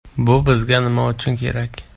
Bu bizga nima uchun kerak?